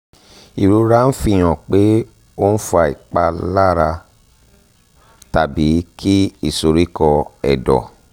ìrora ń fi hàn pé ó ń fa ìpalára tàbí kí ìsoríkọ́ ẹ̀dọ̀